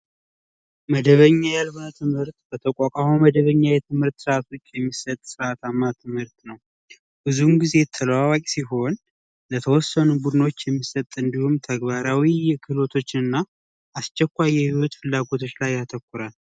መደበኛ ያልሆነ ትምህርት በተቋቋመ መደበኛ የትምህርት የሚሰጥ ነው። ብዙውን ግዜ ተለዋዋጭ ሲሆን የተወሰኑ ቡድኖች የሚሰጥ እንዲሁም ተግባራዊ ክህሎቶችና አስቸኳይ የህይወት ፍላጎቶች ላይ ያተኮራል።